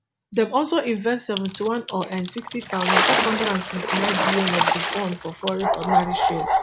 dem also invest seventy-one or nsixty thousand, five hundred and twenty-ninebn of di fund for foreign ordinary shares